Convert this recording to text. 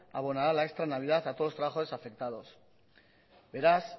abonará la extra de navidad a todos los trabajadores afectados beraz